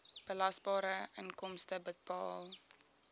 belasbare inkomste bepaal